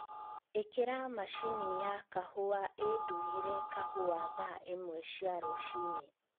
īkira mashini ya kahūwa īndūgīre kahūwa thaa īmwe cia rūciīnī